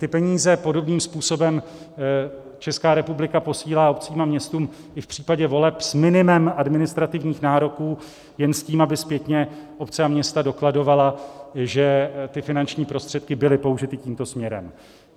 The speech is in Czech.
Ty peníze podobným způsobem Česká republika posílá obcím a městům i v případě voleb s minimem administrativních nároků, jen s tím, aby zpětně obce a města dokladovaly, že ty finanční prostředky byly použity tímto směrem.